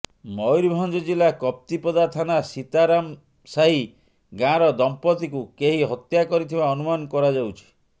ମୟୂରଭଞ୍ଜ ଜିଲ୍ଲା କପ୍ତିପଦା ଥାନା ସୀତାରାମସାହି ଗାଁର ଦମ୍ପତ୍ତିଙ୍କୁ କେହି ହତ୍ୟା କରିଥିବା ଅନୁମାନ କରାଯାଉଛି